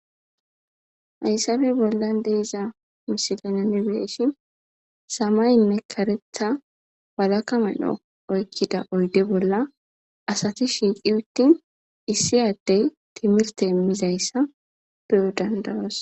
Haysappe bollan de'iza misile nuni be'shin,samayenne karetha walaka medho oykida oyde bolla asati shiiqi uttin,issi addey timirte immizaysa be'o danda'oos.